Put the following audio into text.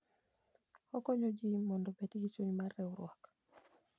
Okonyo ji mondo obed gi chuny mar riwruok.